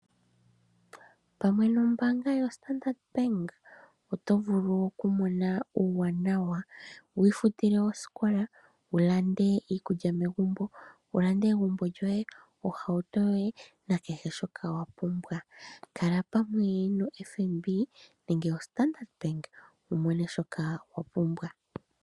Pamwe nombaanga yoStandard Bank, otovulu okumona uuwanawa, wiifutile osikola, wulande iikulya megumbo, egumbo lyoye, ohauto, nakehe shoka wapumbwa. Kala pamwe noFNB nenge noStandard Bank wumone shoka wapumbwa.